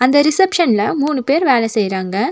அந்த ரிசப்ஷன்ல மூணு பேர் வேல செய்றாங்க.